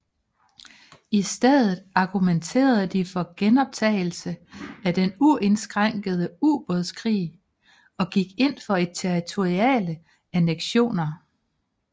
I stedet argumenterede de for genoptagelse af den uindskrænkede ubådskrig og gik ind for territoriale anneksioner